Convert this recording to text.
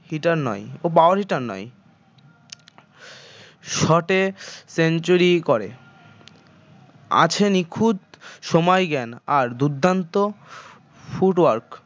ও power hitter নয় shot এ century করে আছে নিখুঁত সময় জ্ঞান আর দুর্দান্ত foot work